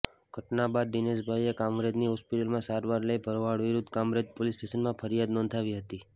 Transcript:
ઘટના બાદ દિનેશભાઇએ કામરેજની હોસ્પિટલમાં સારવાર લઇ ભરવાડ વિરુદ્ધ કામરેજ પોલીસ સ્ટેશને ફરિયાદ નોંધાવી હતી